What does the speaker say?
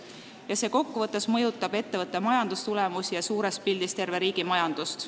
Ja see kokkuvõttes mõjutab ettevõtte majandustulemusi ja suures pildis terve riigi majandust.